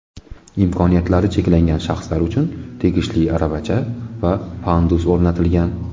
Imkoniyatlari cheklangan shaxslar uchun tegishli aravacha va pandus o‘rnatilgan.